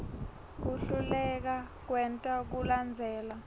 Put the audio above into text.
kuhluleka kwenta kulandzela